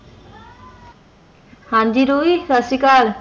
ਹਨ ਜੀ ਰੋਹੀ ਸਾਸਰੀਕਾਲ